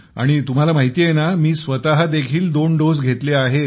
तुम्हाला माहिती आहे ना मी स्वत देखील दोन्ही डोस घेतले आहेत